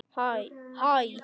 Hvar ertu að vinna?